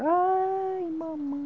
Ai, mamãe.